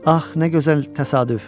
Ax nə gözəl təsadüf.